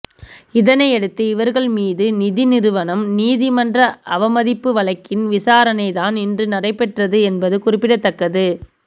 இதனையடுத்து இவர்கள் மீது நிதி நிறுவனம் நீதிமன்ற அவமதிப்பு வழக்கின் விசாரணை தான் இன்று நடைபெற்றது என்பது குறிப்பிடத்தக்கது